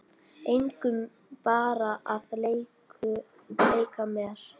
Engum, bara að leika mér